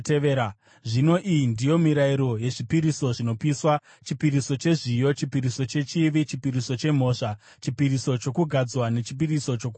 Zvino iyi ndiyo mirayiro yezvipiriso zvinopiswa, chipiriso chezviyo, chipiriso chechivi, chipiriso chemhosva, chipiriso chokugadzwa nechipiriso chokuwadzana,